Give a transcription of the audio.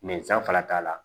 fana t'a la